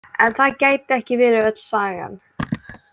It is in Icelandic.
En það gæti ekki verið öll sagan.